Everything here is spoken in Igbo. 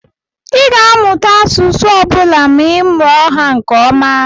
Ị ga-amụta asụsụ ọ bụla ma ị mụọ ha nke ọma.